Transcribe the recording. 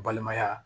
Balimaya